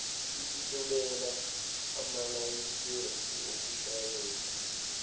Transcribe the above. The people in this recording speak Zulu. esihlolela amalayisensi okushayela